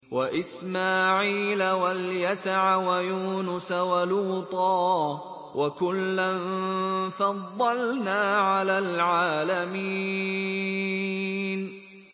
وَإِسْمَاعِيلَ وَالْيَسَعَ وَيُونُسَ وَلُوطًا ۚ وَكُلًّا فَضَّلْنَا عَلَى الْعَالَمِينَ